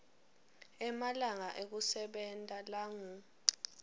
emalanga ekusebenta langu